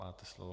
Máte slovo.